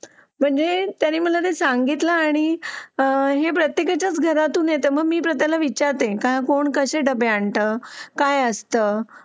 म्हणजे त्याने मला ते सांगितलं आणि हे प्रत्येकाच्या घरातून येता मा मी त्याला विचारते कोण कसे डबे आणता काय असतं